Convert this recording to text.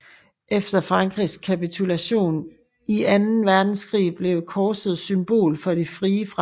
Efter Frankrigs kapitulation i anden verdenskrig blev korset symbol for De Frie Franske